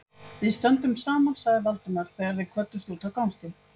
Við stöndum saman sagði Valdimar, þegar þeir kvöddust úti á gangstétt.